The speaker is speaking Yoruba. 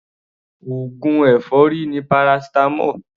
Oògùn èfọ́rí ni paracetamol.